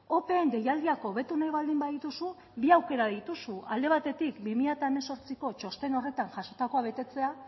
opeen deialdiak hobetu nahi baldin badituzu bi aukera dituzu alde batetik bi mila hemezortziko txosten horretan jasotakoa betetzea